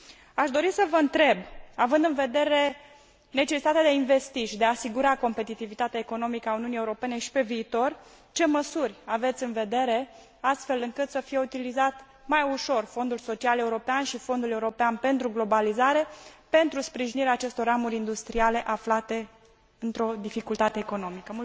Aș dori să vă întreb, având în vedere necesitatea de a investi și de a asigura competitivitatea economică a Uniunii Europene și pe viitor ce măsuri aveți în vedere astfel încât să fie utilizat mai ușor Fondul Social European și Fondul European pentru Globalizare pentru sprijinirea acestor ramuri industriale aflate într o dificultate economică?